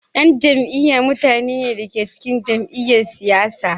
yan jam'iyya mutane ne da ke cikin jam'iyyar siyasa.